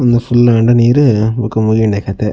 ಉಂದು ಫುಲ್ಲ್ ಆಂಡ ನೀರ್ ಬೊಕ ಮುಗಿಂಡೆ ಕತೆ.